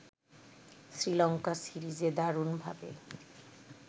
শ্রীলঙ্কা সিরিজে দারুণভাবে